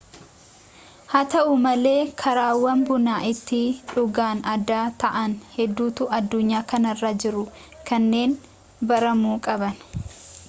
haa ta'u malee karaawwan buna itti dhugan adda ta'an hedduutu addunyaa kanarra jiru kanneen baramuu qaban